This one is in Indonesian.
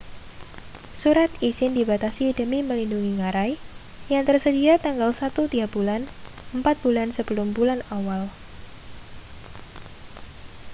surat izin dibatasi demi melindungi ngarai yang tersedia tanggal satu tiap bulan empat bulan sebelum bulan awal